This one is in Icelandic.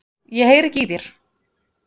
Ég heyri ekki í þér.